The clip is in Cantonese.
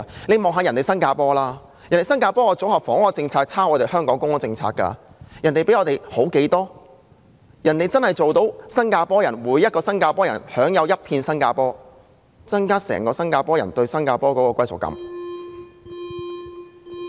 試看新加坡，當地的組合房屋政策其實是抄襲香港的公屋政策，但卻青出於藍，真正做到每位新加坡人均享有一片新加坡的土地，增進新加坡人對國家的歸屬感。